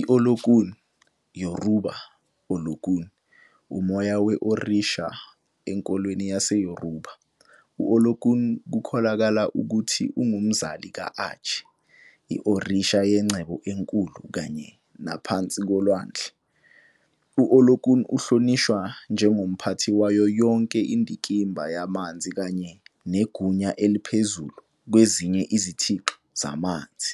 I-Olokun, Yoruba - Olóòkun, umoya we-orisha enkolweni yaseYoruba. U-Olokun kukholakala ukuthi ungumzali ka-Aje, i-orisha yengcebo enkulu kanye naphansi kolwandle. U-Olokun uhlonishwa njengomphathi wayo yonke indikimba yamanzi kanye negunya eliphezu kwezinye izithixo zamanzi.